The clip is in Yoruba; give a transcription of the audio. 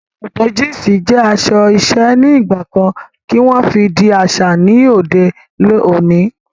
Awọn sòkòtò jínsí jẹ aṣọ iṣẹ̀ nigbakàn kí wọn fí dì aṣa ní lọdẹ̀ ọ̀nì